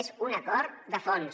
és un acord de fons